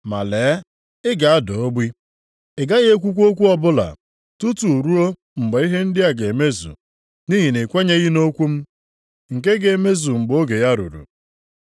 Ma lee, ị ga-ada ogbi, ị gaghị ekwukwa okwu ọbụla, tutu ruo mgbe ihe ndị a ga-emezu nʼihi na i kwenyeghị nʼokwu m, nke ga-emezu mgbe oge ya ruru.”